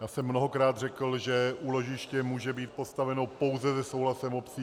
Já jsem mnohokrát řekl, že úložiště může být postaveno pouze se souhlasem obcí.